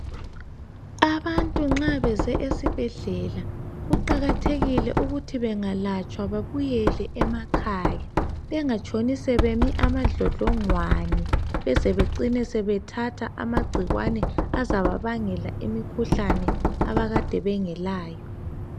Abantu nxa beze esibhedlela kuqakathekile ukuthi bengalatshwa babuyele emakhaya bengatshoni sebemi amadlodlongwane beze becine sebethatha amagcikwane azababangela imikhuhlane abakade bengelayo.